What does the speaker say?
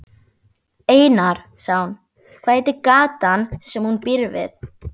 Einar, sagði hún, hvað heitir gatan sem hún býr við?